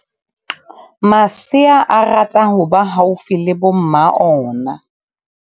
Masea a rata ho ba haufi le bo mma ona.